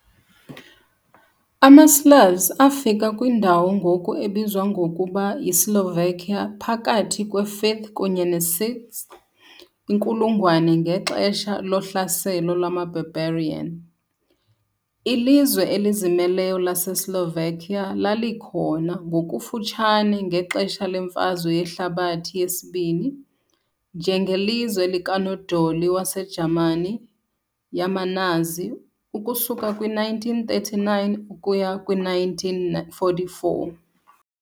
AmaSlavs afika kwindawo ngoku ebizwa ngokuba yiSlovakia phakathi kwe- 5th kunye ne -6th inkulungwane ngexesha lohlaselo lwama-barbarian . Ilizwe elizimeleyo laseSlovakia lalikhona ngokufutshane ngexesha leMfazwe Yehlabathi II, njengelizwe likanodoli waseJamani yamaNazi ukusuka kwi-1939 ukuya kwi-1944.